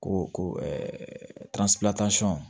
Ko ko